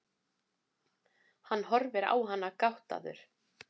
Hann horfir á hana gáttaður.